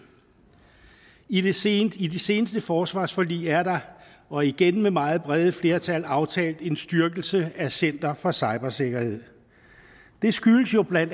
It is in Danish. i de seneste de seneste forsvarsforlig er der og igen med meget brede flertal aftalt en styrkelse af center for cybersikkerhed det skyldes jo bla